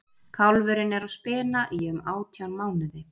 kálfurinn er á spena í um átján mánuði